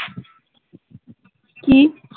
কি